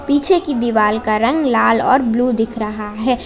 पीछे की दीवाल का रंग लाल और ब्लू दिख रहा है।